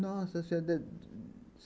Nossa Senhora!